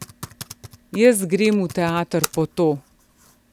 Jaz grem v teater po to.